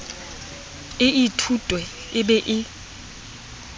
e ithutwe e be e